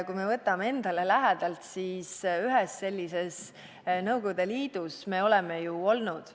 Kui me võtame enda lähedalt, siis ühes sellises – Nõukogude Liidus – me oleme ju olnud.